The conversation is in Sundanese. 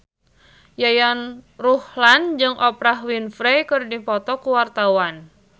Yayan Ruhlan jeung Oprah Winfrey keur dipoto ku wartawan